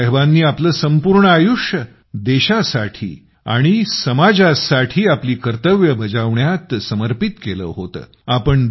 बाबासाहेबानी आपलं संपूर्ण आयुष्य देशासाठी आणि समाजासाठी आपली कर्तव्ये बजावण्यात समर्पित केलं होतं